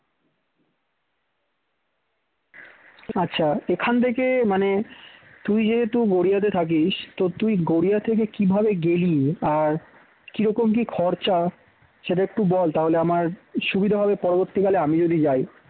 আচ্ছা এখান থেকে মানে তুই যেহেতু গড়িয়াতে থাকিস তো তুই গড়িয়া থেকে কী ভাবে গেলি আর কিরকম কি খরচা সেটা একটু বল তাহলে আমার সুবিধা হবে পরবর্তীকালে আমি যদি যাই